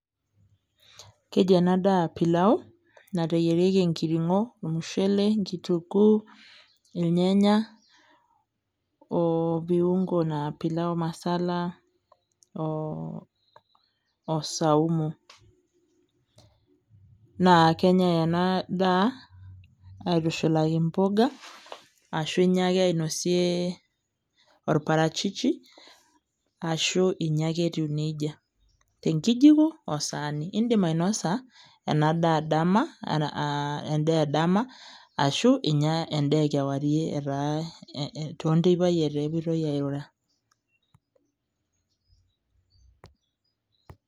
Keji enadaa pilau, nateyierieki enkiring'o, ormushele, enkitunkuu, irnyanya, o viungo naa pilau masala, o saumu. Na kenyai enadaa, aitushulaki mboga, ashu inya ake ainosie or parachichi, ashu inya ake etiu nejia. Tenkijiko o saani. Idim ainosa enadaa dama, endaa edama, ashu inya endaa ekewarie etaa tonteipai etaa kepoitoi airura.